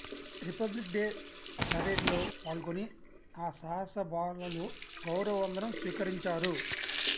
republic Day పరేడ్లో పాల్గొని ఆ సాహస బాలలు గౌరవ వందనం స్వీకరించారు